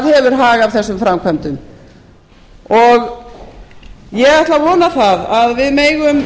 hefur hag af þessum framkvæmdum ég ætla að vona að við megum